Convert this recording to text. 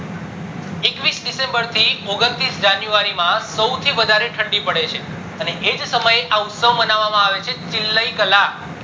એકવીશ december થી ઓગણત્રી january માં સૌથી વધારે ધંડી પડે છે અને એજ સમયે આ ઉત્સવ માનવા માં આવે છે ચીલય કલા